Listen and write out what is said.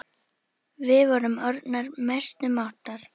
Við vorum orðnar mestu mátar.